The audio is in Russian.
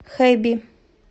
хэби